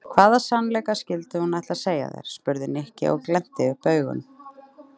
Hvaða sannleika skyldi hún ætla að segja þér? spurði Nikki og glennti upp augun.